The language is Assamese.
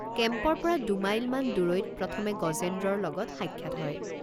কেম্পৰপৰা দুমাইলমান দূৰৈত প্ৰথমে গজেন্দ্ৰৰ লগত সাক্ষাৎ হয়।